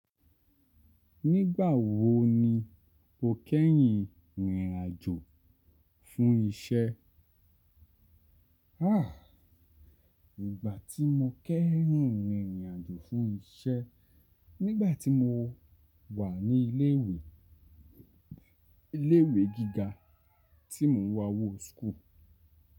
Nígbà wo ni o kẹ́hìn rìnrìn àjò fún iṣẹ́? Háà, ìgbà tí mo kẹ́hìn rìnrìn àjò fún iṣẹ́, nígbà tí mo wà ní ilé ìwé, ilé ìwé gíga tí mo wọ school.